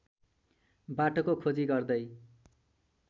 बाटोको खोजी गर्दै